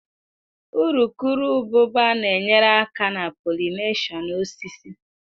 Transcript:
Urukurububa na-enyere aka na pollination osisi.